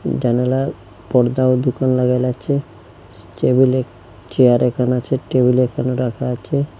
জানালার পর্দা ও দুকান লাগাইলাছে টেবিলে চেয়ার একানে আচে টেবিল ও একানে রাখা আচে।